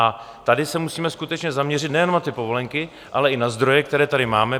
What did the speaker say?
A tady se musíme skutečně zaměřit nejenom na ty povolenky, ale i na zdroje, které tady máme.